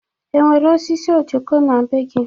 E nwere osisi ojoko na-be gị?